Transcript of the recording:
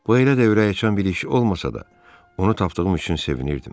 Bu elə də ürəkaçan bir iş olmasa da, onu tapdığım üçün sevinirdim.